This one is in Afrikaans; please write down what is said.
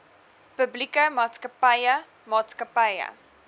publieke maatskappye maatskappye